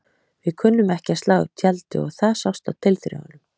Við kunnum ekki að slá upp tjaldi og það sást á tilþrifunum.